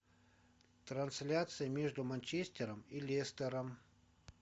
трансляция между манчестером и лестером